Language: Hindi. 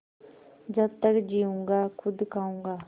जब तक जीऊँगा खुद खाऊँगा